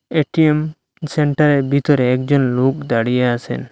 ATM সেন্টারের ভিতরে একজন লোক দাঁড়িয়ে আছেন।